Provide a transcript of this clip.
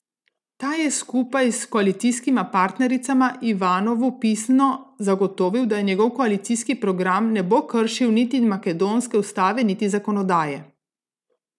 Ta je skupaj s koalicijskima partnericama Ivanovu pisno zagotovil, da njegov koalicijski program ne bo kršil niti makedonske ustave niti zakonodaje.